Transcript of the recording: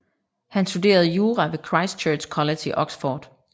Han studerede jura ved Christ Church College i Oxford